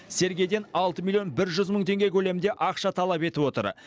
сергейден алты милиион жүз мың теңге көлемінде ақша талап етіп отыр